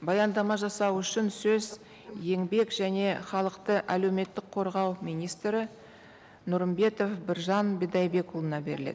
баяндама жасау үшін сөз еңбек және халықты әлеуметтік қорғау министрі нұрымбетов біржан бидайбекұлына беріледі